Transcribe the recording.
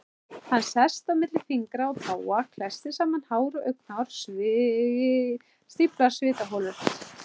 Hann sest milli fingra og táa, klessir saman hár og augnhár, stíflar svitaholur.